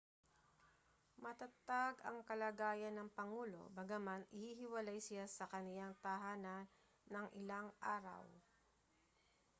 matatag ang kalagayan ng pangulo bagaman ihihiwalay siya sa kaniyang tahanan nang ilang araw